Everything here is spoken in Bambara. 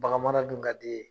Baganmara dun ka di e ye